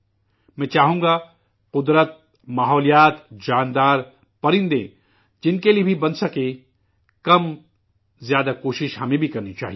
میں چاہوں گا قدرتی ، ماحولیات ،جاندار، پرندے جن کے لیے بھی بن سکے، کم زیادہ کوششیں ہمیں بھی کرنی چاہیئے